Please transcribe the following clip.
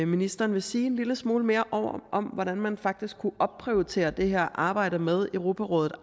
ministeren vil sige en lille smule mere om hvordan man faktisk aktivt kunne opprioritere det her arbejde med europarådet